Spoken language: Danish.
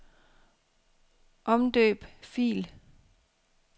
Omdøb fil.